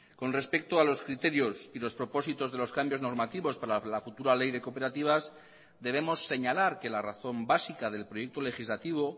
con respecto a los criterios y los propósitos de los cambios normativos para la futura ley de cooperativas debemos señalar que la razón básica del proyecto legislativo